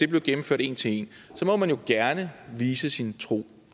bliver gennemført en til en må man jo gerne vise sin tro